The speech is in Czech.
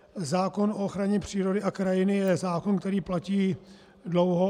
Zákon o ochraně přírody a krajiny je zákon, který platí dlouho.